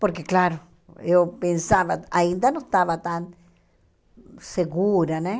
Porque, claro, eu pensava, ainda não estava tão segura, né?